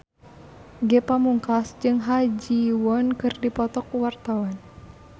Ge Pamungkas jeung Ha Ji Won keur dipoto ku wartawan